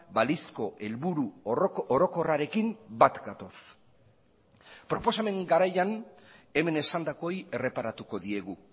balizko helburu orokorrarekin bat gatoz proposamen garaian hemen esandakoei erreparatuko diegu